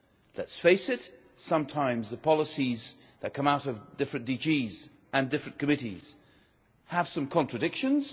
Let us face it, sometimes the policies that come out of different DGs and different committees have contradictions.